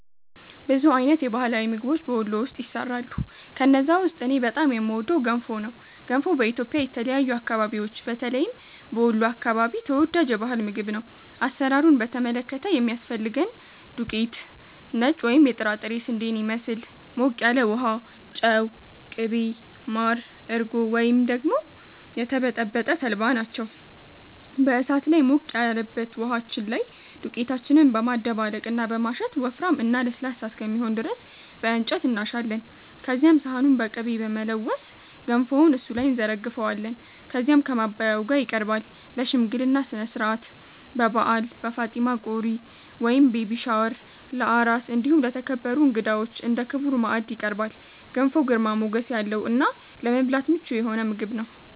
ብዙ አይነት የባህላዊ ምግቦች በ ወሎ ውስጥ ይሰራሉ። ከነዛ ውስጥ እኔ በጣም የምወደው ገንፎ ነው። ገንፎ በኢትዮጵያ የተለያዩ አከባቢዎች በተለይም በ ወሎ አከባቢ ተወዳጅ የ ባህል ምግብ ነው። አሰራሩን በተመለከተ የሚያስፈልገን ዱቄት(ነጭ ወይም የጥራጥሬ ስንዴን ይመስል)፣ ሞቅ ያለ ውሃ፣ ጨው፣ ቅቤ፣ ማር፣ እርጎ ወይም ደግሞ የተበጠበጠ ተልባ ናቸው። በ እሳት ላይ ሞቅ ያለበት ውሃችን ላይ ዱቄታችንን በማደባለቅ እና በማሸት ወፍራም እና ለስላሳ እስከሚሆን ድረስ በ እንጨት እናሻለን። ከዚያም ሰሃኑን በ ቅቤ በመለወስ ገንፎውን እሱ ላይ እንዘረግፈዋለን። ከዚያም ከ ማባያው ጋ ይቀርባል። ለ ሽምግልና ስነስርዓት፣ በ በዓል፣ በ ፋጢማ ቆሪ(ቤቢ ሻወር) ፣ለ አራስ እንዲሁም ለተከበሩ እንግዳዎች እንደ ክቡር ማዕድ ይቀርባል። ገንፎ ግርማ ሞገስ ያለው እና ለመብላት ምቹ የሆነ ምግብ ነው።